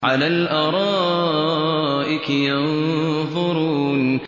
عَلَى الْأَرَائِكِ يَنظُرُونَ